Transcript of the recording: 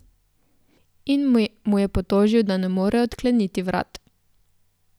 In mu je potožil, da ne more odkleniti vrat.